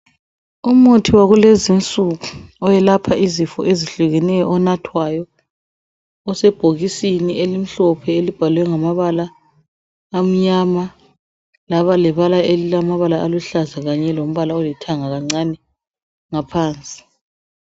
Umuthi wakulezi insuku owelapha izifo ezihlukeneyo onathwayo osebhokisini elimhlophe elibhalwe ngamabala amnyama laba lebala elilamabala aluhlaza kanye lombala olithanga kancane ngaphansi.